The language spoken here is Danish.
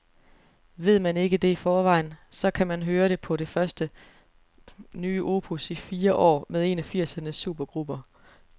Ved man ikke det i forvejen, så kan man høre det på det første nye opus i fire år med en af firsernes supergrupper.